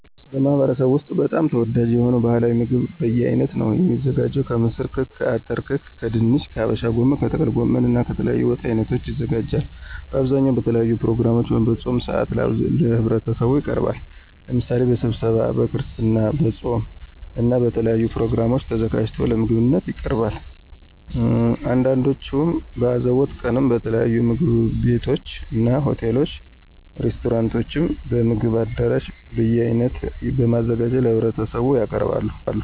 በማህበረሰቡ ወስጥ በጣም ተወዳጅ የሆነው ባህላዊ ምግብ በየአይነት ነው። የሚዘጋጀው ከምስር ክክ፣ አተር ክክ ከድንች፣ ከሀበሻ ጎመን፣ ከጥቅል ጎመን እና ከተለያዩ የወጥ አይነቶች ይዘጋጃል። በአብዛኛው በተለያዩ ፕሮግራሞች ወይም በፆም ሰአት ለህብረተሰቡ ይቀርባል። ለምሳሌ በስብሰባው፣ በክርስትና፣ በፆም እና በተለያዩ ፕሮግራሞች ተዘጋጅቶ ለምግብነት ይቀርባል። አንዳንዶቹም በአዘቦት ቀንም በተለያዩ ምግብ ቤቶችና፣ ሆቴሎች፣ ሬስቶራንቶችም፣ በምግብ አዳራሽ በየአይነት በማዘጋጀት ለህብረተሰቡ ያቀርባሉ።